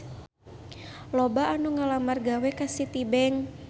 Loba anu ngalamar gawe ka Citibank